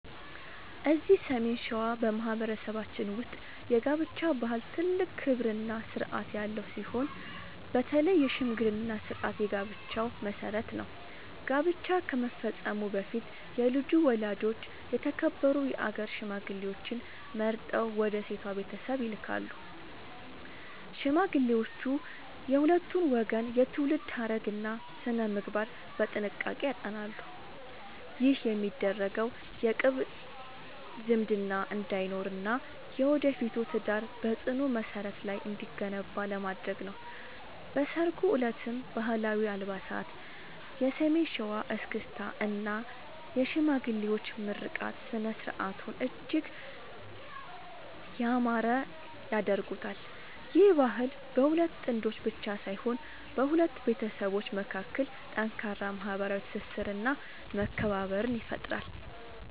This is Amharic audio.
እዚህ ሰሜን ሸዋ በማኅበረሰባችን ውስጥ የጋብቻ ባህል ትልቅ ክብርና ሥርዓት ያለው ሲሆን፣ በተለይ የሽምግልና ሥርዓት የጋብቻው መሠረት ነው። ጋብቻ ከመፈጸሙ በፊት የልጁ ወላጆች የተከበሩ የአገር ሽማግሌዎችን መርጠው ወደ ሴቷ ቤተሰብ ይልካሉ። ሽማግሌዎቹ የሁለቱን ወገን የትውልድ ሐረግና ሥነ-ምግባር በጥንቃቄ ያጠናሉ። ይህ የሚደረገው የቅርብ ዝምድና እንዳይኖርና የወደፊቱ ትዳር በጽኑ መሠረት ላይ እንዲገነባ ለማድረግ ነው። በሠርጉ ዕለትም ባህላዊ አልባሳት፣ የሰሜን ሸዋ እስክስታ እና የሽማግሌዎች ምርቃት ሥነ-ሥርዓቱን እጅግ ያማረ ያደርጉታል። ይህ ባህል በሁለት ጥንዶች ብቻ ሳይሆን በሁለት ቤተሰቦች መካከል ጠንካራ ማኅበራዊ ትስስርና መከባበርን ይፈጥራል።